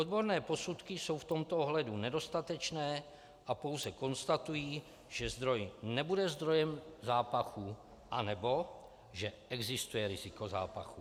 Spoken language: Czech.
Odborné posudky jsou v tomto ohledu nedostatečné a pouze konstatují, že zdroj nebude zdrojem zápachu, anebo že existuje riziko zápachu.